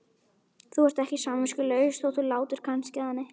Þú ert ekki samviskulaus þótt þú látir kannski þannig.